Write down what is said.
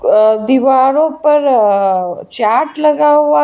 अ दीवारों पर अअ चार्ट लगा हुआ है।